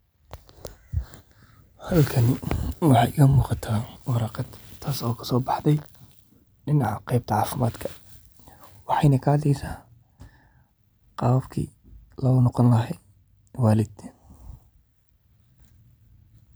Halkani waxey ka muqaata waraaqad taas oo kasobaxde dinaaca qebta cafimadka ee waxen ka hadleysa qabkii lo noqon laha walidin.